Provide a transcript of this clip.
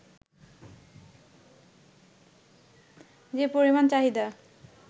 যে পরিমাণ চাহিদা